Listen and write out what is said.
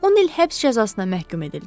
10 il həbs cəzasına məhkum edildilər.